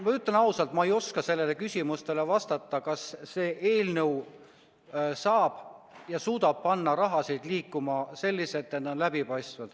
Ma ütlen ausalt, et ma ei oska sellele küsimusele vastata – sellele, kas see eelnõu saab ja suudab panna raha liikuma selliselt, et see oleks läbipaistev.